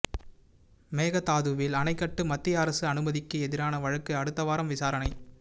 மேகதாதுவில் அணை கட்ட மத்திய அரசு அனுமதிக்கு எதிரான வழக்கு அடுத்தவாரம் விசாரனை